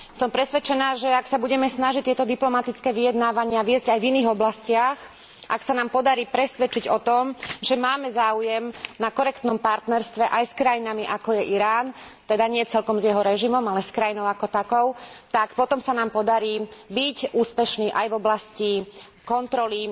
Som presvedčená, že ak sa budeme snažiť tieto diplomatické vyjednávania viesť aj v iných oblastiach, ak sa nám podarí presvedčiť o tom, že máme záujem na korektnom partnerstve aj s krajinami, ako je Irán teda nie celkom s jeho režimom, ale s krajinou ako takou tak potom sa nám podarí byť úspešní aj v oblasti kontroly